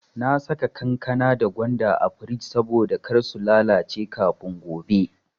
Na saka kankana da gwanda a frij saboda kar su lalace kafin gobe.